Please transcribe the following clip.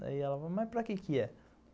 Daí ela falou, mas para que que é?